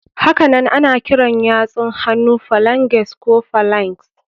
Hakanan ana kiran yatsun hannu phalanges ko phalanx.